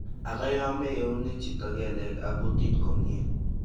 ag ya ma iunei chito keleg ag kutit komyei